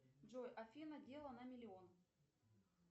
джой афина дело на миллион